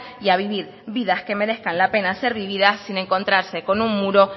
y a vivir vidas que merezcan la pena ser vividas sin encontrarse con un muro